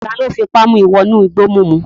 Taló fipá mu wọ inú igbó mímu?